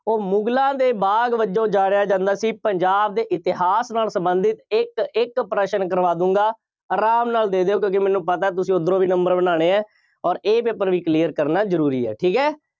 ਉਹ ਮੁਗਲਾਂ ਦੇ ਬਾਗ ਵਜੋਂ ਜਾਣਿਆ ਜਾਂਦਾ ਸੀ। ਪੰਜਾਬ ਦੇ ਇਤਿਹਾਸ ਨਾਲ ਸੰਬੰਧਿਤ ਇੱਕ ਇੱਕ ਪ੍ਰਸਨ ਕਰਵਾਦੂੰਗਾ। ਆਰਾਮ ਨਾਲ ਦੇ ਦਿਓ। ਕਿਉਂਕਿ ਮੈਨੂੰ ਪਤਾ ਤੁਸੀਂ ਉੱਧਰੋਂ ਵੀ number ਬਣਾਉਣੇ ਆ, ਅੋਰ ਇਹ paper ਵੀ clear ਕਰਨਾ ਜ਼ਰੂਰੀ ਹੈ। ਠੀਕ ਹੈ,